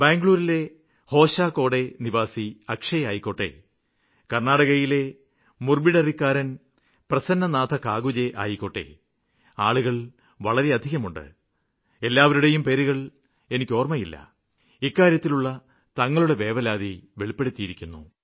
ബംഗളൂരിലെ ഹോസ്കോട്ട് നിവാസി അക്ഷയ് ആവട്ടെ കര്ണ്ണാടകയിലെ മുഡുബിദ്രിയിലെ പ്രസന്നകാകുഞ്ജേ ആവട്ടെ ആളുകള് വളരെയധികമുണ്ട് എല്ലാവരുടെയും പേരുകള് എനിക്ക് ഓര്മ്മയില്ല ഇക്കാര്യത്തിലുള്ള തങ്ങളുടെ വേവലാതി രേഖപ്പെടുത്തിയിരുന്നു